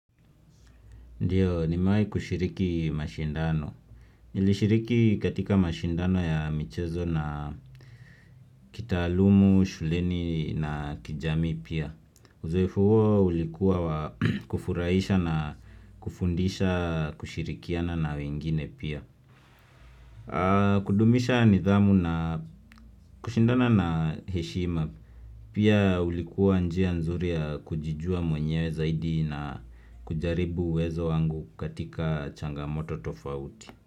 Ndiyo, nimewai kushiriki mashindano. Nilishiriki katika mashindano ya michezo na kitaalumu, shuleni na kijamii pia. Uzoefu huo ulikuwa wa kufurahisha na kufundisha kushirikiana na wengine pia. Kudumisha nidhamu na kushindana na heshima. Pia ulikuwa njia nzuri ya kujijua mwenyewe zaidi na kujaribu uwezo wangu katika changamoto tofauti.